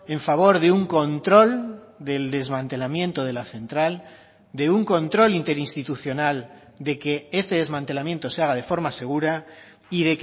en favor de un control del desmantelamiento de la central de un control interinstitucional de que este desmantelamiento se haga de forma segura y